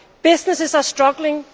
Businesses are struggling.